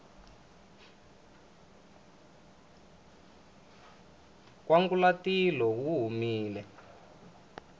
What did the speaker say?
nkwangulatilo wu humile